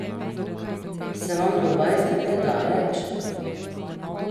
Se vam Dubaj zdi predaleč?